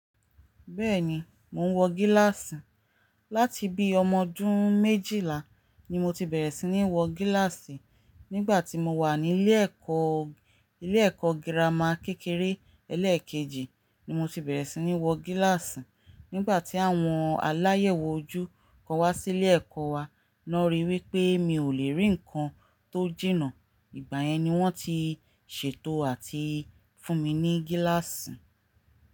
Bẹ́ẹ̀ni, mò ń wọ gíláàsì. Láti bí ọmọdún méjìlá ni mo ti bẹ̀rẹ̀ sí ní wọ gíláàsì. Nígbà tí mo wà ní ilé ẹ̀kọ́, ilé ẹ̀kọ́ girama kékeré ẹlẹ́ẹ̀kejì ni mo ti bẹ̀rẹ̀ sí ní wọ gíláàsì. Nígbà tí àwọn aláyẹ̀wò ojú kan wá sí ilé ẹ̀kọ́ wa, wọ́n ríi wí pé mi ò lè rí nǹkan tó jìnà, ìgbà yẹn ni wọ́n ti ṣètò àti fún mi ní gíláàsì.